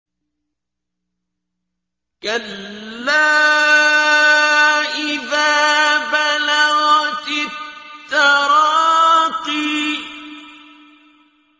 كَلَّا إِذَا بَلَغَتِ التَّرَاقِيَ